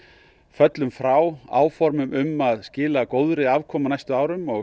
föllum frá áformum um að skila góðri afkomu á næstu árum og